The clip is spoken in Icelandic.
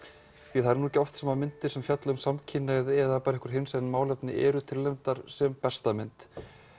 því að það er ekki oft sem myndir fjalla um samkynhneigð eða hinsegin málefni eru tilnefndar sem besta mynd